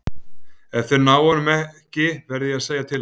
Ef þeir ná honum ekki verð ég að segja til hans.